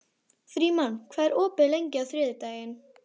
Frímann, hvað er opið lengi á þriðjudaginn?